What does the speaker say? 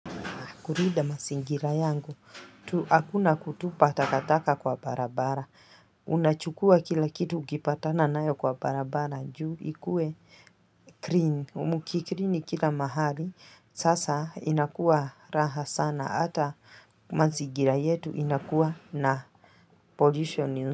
Kulinda mazingira yangu, hakuna kutupa takataka kwa barabara Unachukua kila kitu ukipatana nayo kwa barabara juu ikue clean, mukiclean kila mahali Sasa inakuwa raha sana, hata mazigira yetu inakuwa na pollution.